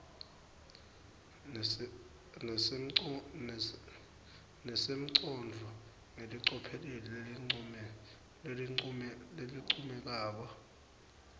nesimongcondvo ngelicophelo lelincomekako